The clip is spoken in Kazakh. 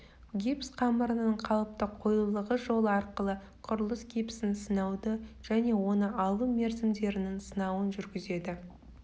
гипс қамырының қалыпты қоюлылығы жолы арқылы құрылыс гипсін сынауды және оны алу мерзімдерінің сынауын жүргізеді